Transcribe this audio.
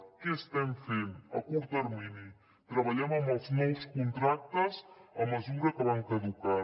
què estem fent a curt termini treballem amb els nous contractes a mesura que van caducant